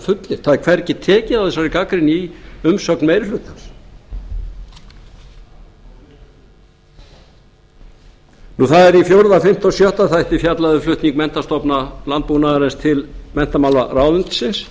fullyrt það er hvergi tekið á þessari gagnrýni í umsögn meiri hlutans það er í fjórða fimmta og sjötta þætti fjallað um flutning menntastofnana landbúnaðarins til menntamálaráðuneytisins